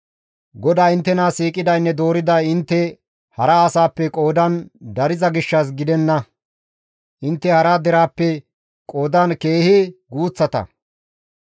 GODAY inttena siiqidaynne dooriday intte hara asaappe qoodan dariza gishshas gidenna; intte hara deraappe qoodan keehi guuththata.